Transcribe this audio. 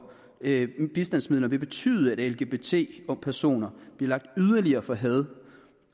bistandsmidler vil betyde at lgbt personer bliver lagt yderligere for had